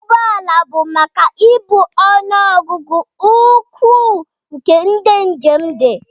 Ụgbọ ala bụ maka ibu ọnụ ọgụgụ ukwuu nke ndị njem dị